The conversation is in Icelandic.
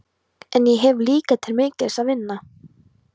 En ég hef líka til mikils að vinna.